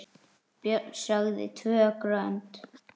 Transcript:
Björn sagði TVÖ GRÖND!